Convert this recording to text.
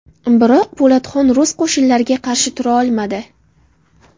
Biroq Po‘latxon rus qo‘shinlariga qarshi tura olmadi.